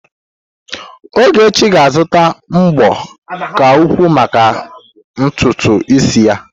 Ogechi ga-azụta mbo ka ukwuu maka ntutu isi ya.